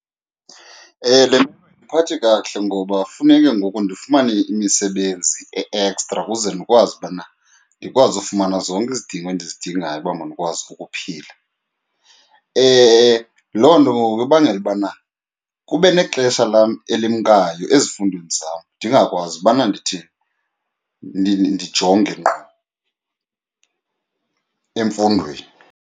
Le ayindiphathi kakuhle ngoba funeke ngoku ndifumane imisebenzi e-ekstra kuze ndikwazi ubana ndikwazi ufumana zonke izidingo endizidingayo uba mandikwazi ukuphila. Loo nto ke ngoku ibangela ubana kube nexesha lam elimkayo ezifundweni zam ndingakwazi ubana ndithi ndijonge ngqo emfundweni.